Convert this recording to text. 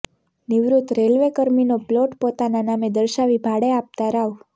નિવૃત રેલ્વેકર્મીનો પ્લોટ પોતાના નામે દર્શાવી ભાડે આપતા રાવ